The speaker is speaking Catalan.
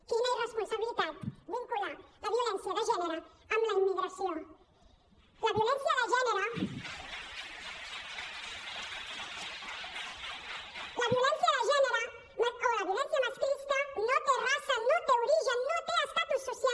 quina irresponsabilitat vincular la violència de gènere amb la immigració la violència de gènere o la violència masclista no té raça no té origen no té estatus social